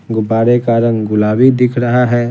गुब्बारे का रंग गुलाबी दिख रहा है।